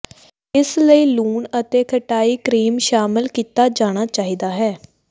ਇਸ ਲਈ ਲੂਣ ਅਤੇ ਖਟਾਈ ਕਰੀਮ ਸ਼ਾਮਿਲ ਕੀਤਾ ਜਾਣਾ ਚਾਹੀਦਾ ਹੈ